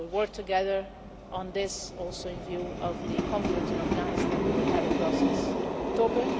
We will work together on this also in view of the conference on Afghanistan we will have in Brussels in October.